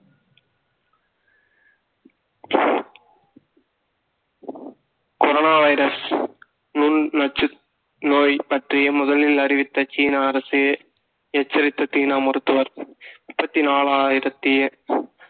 corona virus முன் நொச்சு நோய் பற்றிய முதலில் அறிவித்த சீன அரசு எச்சரித்த சீனா மருத்துவர் முப்பத்தி நாலாயிரத்தி